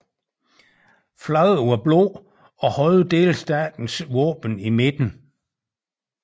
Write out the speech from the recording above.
Flaget var blåt og havde delstatens våben i midten